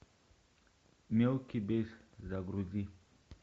мелкий бес загрузи